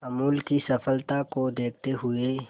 अमूल की सफलता को देखते हुए